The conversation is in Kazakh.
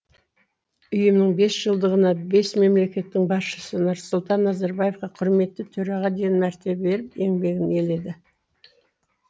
ұйымның бесжылдығына бес мемлекеттің басшысы нұрсұлтан назарбаевқа құрметті төраға деген мәртебе беріп еңбегін еледі